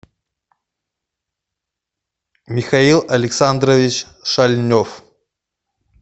михаил александрович шальнев